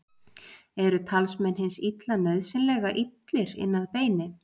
Eru talsmenn hins illa nauðsynlega illir inn að beini?